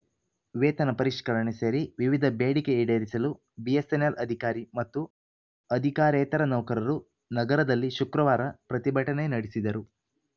ವೇತನ ಪರಿಷ್ಕರಣೆ ಸೇರಿ ವಿವಿಧ ಬೇಡಿಕೆ ಈಡೇರಿಸಲು ಬಿಎಸ್ಸೆನ್ನೆಲ್‌ ಅಧಿಕಾರಿ ಮತ್ತು ಅಧಿಕಾರೇತರ ನೌಕರರು ನಗರದಲ್ಲಿ ಶುಕ್ರವಾರ ಪ್ರತಿಭಟನೆ ನಡೆಸಿದರು